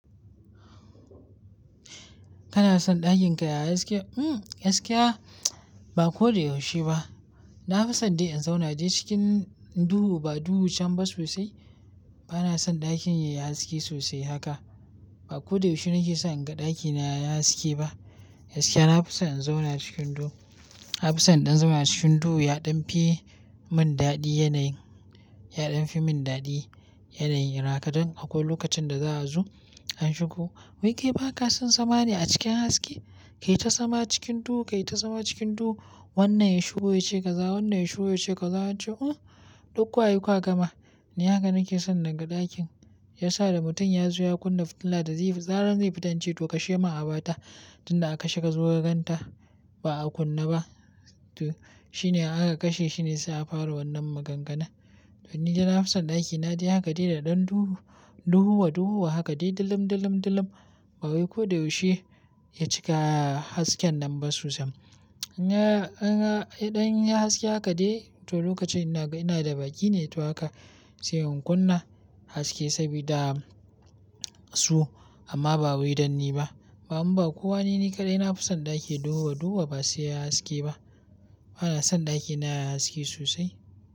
Kana son ɗakin ka yayi haske? Mm, gaskiya ba ko da yaushe ba. Na fi son dai in zauna dai cikin duhu ba duhu can ba sosai. Bana son ɗakin yayi haske sosai haka. Ba ko da yaushe nake so in ga ɗakina yayi haske ba. Gaskiya na fi son in zauna cikin duhu. Na fi son in ɗan zama cikin duhu ya ɗan fi mun daɗi yanayin, ya ɗan fi mun daɗi yanayin haka don akwai lokacin da za a zo an shigo. Wai ke ba ka son zama ne a cikin haske? Kai ta sama cikin duhu, kai ta sama cikin duhu. Wannan ya shigo ya ce ka za, wannan ya shigo ya ce ka zama. Cewa uh dukkan wa yiku aka gama. Ni haka nake son na ga ɗakin, shiya sa da mutum ya zo ya kunna fitila da zarar, zai fi ta in ce to kashe min abata. Tun da aka kashe ka zo kaganta ba a kunna ba. To shi ne aka kashe, shi ne sa a fara wannan maganganu. To ni dai na fi son ɗakina dai haka dai da ɗan duhu, duhuwa duhuwa haka dai dilim, dilim, dilim. Ba wai ko da yaushe ya cika hasken nan ba sosai. In ya, in ya, idan ya haske haka dai, to lokacin ina ga, ina da bakin ne to haka sai in kunna haske sabida su amma ba wai dan ni ba. Ba kuma ba kowane ni kaɗai na fi son ɗaki duhuwa duhuwa ba sai yayi haske ba. Bana son ɗakina yayi haske sosai.